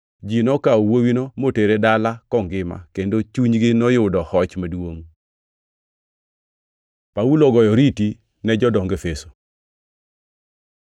Ji nokawo wuowino motere dala kongima, kendo chunygi noyudo hoch maduongʼ. Paulo ogoyo oriti ne jodong Efeso